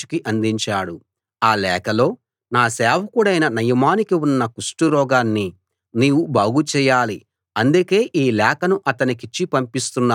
ఆ లేఖలో నా సేవకుడైన నయమానుకి ఉన్న కుష్టురోగాన్ని నీవు బాగు చేయాలి అందుకే ఈ లేఖను అతనికిచ్చి పంపిస్తున్నాను అని ఉంది